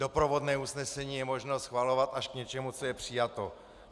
Doprovodné usnesení je možno schvalovat až k něčemu, co je přijato.